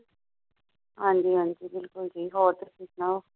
ਹਾਂ ਜੀ ਹਾਂ ਜੀ ਬਿੱਲਕੁੱਲ ਜੀ ਹੋਰ ਤੁਸੀ ਸੁਣਾਉ।